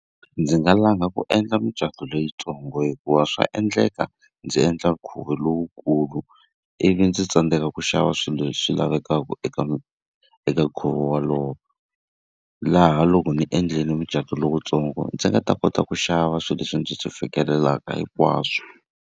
Ndzi nga langa ku endla micato leyintsongo hikuva swa endleka ndzi endla nkhuvo lowukulu, ivi ndzi tsandzeka ku xava swilo leswi lavekaka eka eka nkhuvo wolowo. Laha loko ndzi endlile mucato lowuntsongo ndzi nga ta kota ku xava swilo leswi ndzi swi fikelelaka hikwaswo.